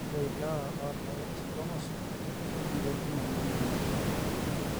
ore ilewa oota x chromosome naa ketum ena nyamali.